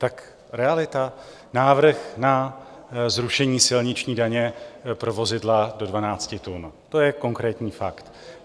Tak realita: návrh na zrušení silniční daně pro vozidla do 12 tun, to je konkrétní fakt.